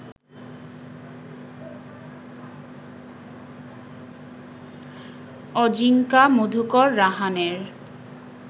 Ajinkya Madhukar রাহানের